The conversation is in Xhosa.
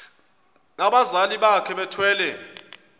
abazali bakhe bethwele